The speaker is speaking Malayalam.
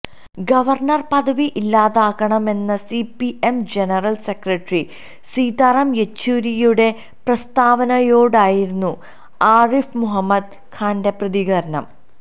ഗവര്ണര് പദവി ഇല്ലാതാക്കണമെന്ന സിപിഎം ജനറല് സെക്രട്ടറി സീതാറാം യെച്ചൂരിയുടെ പ്രസ്താവനയോടായിരുന്നു ആരിഫ് മുഹമ്മദ് ഖാന്റെ പ്രതികരണം